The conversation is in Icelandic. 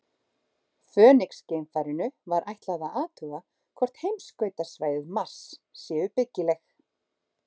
Fönix-geimfarinu var ætlað að athuga hvort heimskautasvæði Mars séu byggileg.